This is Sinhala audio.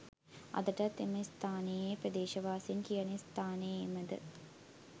අදටත් එම ස්ථානය යැයි ප්‍රදේශවාසීන් කියන ස්ථානයේමද?